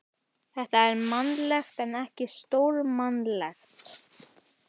Þetta er mannlegt en ekki stórmannlegt.